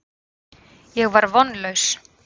Ég var vonlaus.